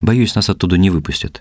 боюсь нас оттуда не выпустят